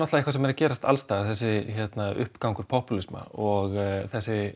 eitthvað sem er að gerast alls staðar þessi uppgangur popúlisma og þessi